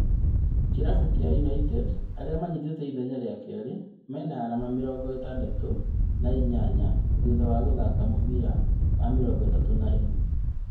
Kĩrabu gĩa United arĩa manyitĩte ithenya rĩa kerĩ, mena arama mĩrongo ĩtandatũ na inyanya thutha wa gũthaka mũbira wa mĩrongo ĩtatũ na ĩmwe.